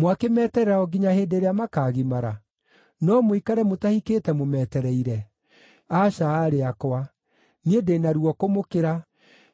mwakĩmeterera o nginya hĩndĩ ĩrĩa makaagimara? No mũikare mũtahikĩte mũmetereire? Aca, aarĩ akwa. Niĩ ndĩ na ruo kũmũkĩra,